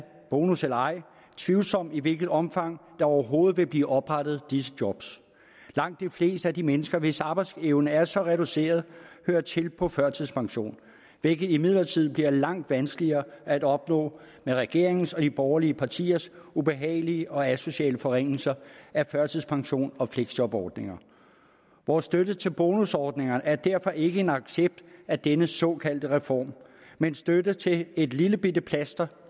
bonus eller ej tvivlsomt i hvilket omfang der overhovedet vil blive oprettet disse job langt de fleste af de mennesker hvis arbejdsevne er så reduceret hører til på førtidspension hvilket imidlertid bliver langt vanskeligere at opnå med regeringens og de borgerlige partiers ubehagelige og asociale forringelser af førtidspensions og fleksjobordningerne vores støtte til bonusordningerne er derfor ikke en accept af denne såkaldte reform men støtte til et lillebitte plaster